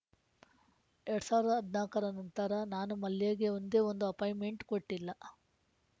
ಎರಡ್ ಸಾವಿರದ ಹದಿನಾಲ್ಕುರ ನಂತರ ನಾನು ಮಲ್ಯಗೆ ಒಂದೇ ಒಂದು ಅಪಾಯಿಂಟ್‌ಮೆಂಟ್‌ ಕೊಟ್ಟಿಲ್ಲ